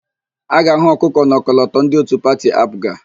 A ga-ahụ ọkụkọ n'ọkọlọtọ ndị òtù pati AaPụga.